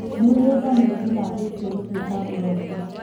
Mĩgũnda nĩĩtinangĩtio gũtuĩka mburoti